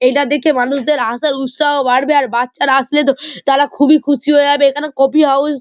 এটা দেখে মানুষদের আসার উৎসাহ বাড়বে আর বাচ্চারা আসলেতো তারা খুবই খুশি হয়ে যাবে এখানে কফি হাউস --